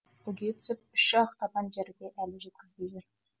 бүге түсіп үш ақ табан жерде әлі жеткізбей жүр